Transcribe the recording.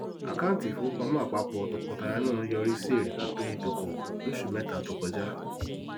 àkáńtì ìfowópamọ àpapọ tọkọtaya náà yọrí sí èrè pínpín ìdókòwò lósù mẹta to kọjá